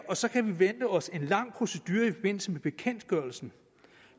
og så kan vi vente os en lang procedure i forbindelse med bekendtgørelsen